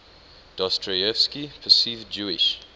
dostoyevsky perceived jewish